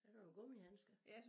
Jeg kan jo gummihandsker